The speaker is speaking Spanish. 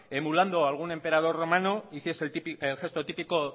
emulando a algún emperador romano hiciese el gesto típico